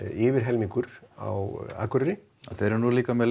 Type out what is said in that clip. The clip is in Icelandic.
yfir helmingur á Akureyri þau eru nú líka með